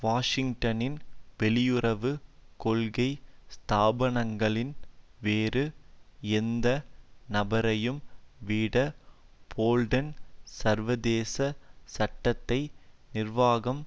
வாஷிங்டனின் வெளியுறவு கொள்கை ஸ்தாபனங்களின் வேறு எந்த நபரையும் விட போல்டன் சர்வதேச சட்டத்தை நிர்வாகம்